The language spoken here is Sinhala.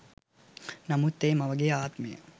නමුත් ඒ මවගේ ආත්මය